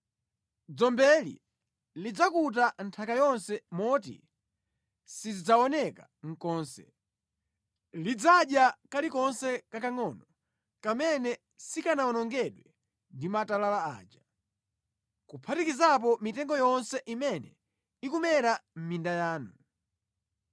Dzombeli lidzakuta nthaka yonse moti sidzaoneka konse. Lidzadya kalikonse kakangʼono kamene sikanawonongedwe ndi matalala aja, kuphatikizapo mitengo yonse imene ikumera mʼminda yanu.